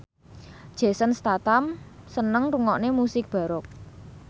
Jason Statham seneng ngrungokne musik baroque